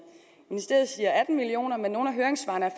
ministeriet siger atten million kr men i nogle af høringssvarene er